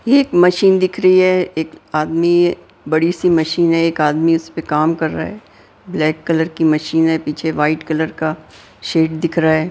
एक मशीन दिख रही है एक आदमी बड़ी सी मशीन है एक आदमी उस पे काम कर रहा है ब्लैक कलर की मशीन है पीछे वाइट कलर का शेड दिख रहा हैं।